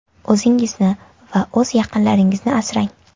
O‘zingizni va o‘z yaqinlaringizni asrang!